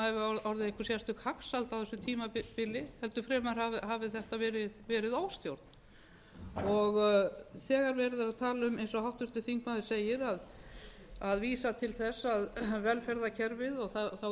að það hafi orðið einhver sérstök hagsæld á þessu tímabili heldur fremur hafi þetta verið óstjórn þegar verið er að tala um eins og háttvirtur þingmaður segir að vísa til þess að velferðarkerfið og þá erfiðleika sem við þurfum að fara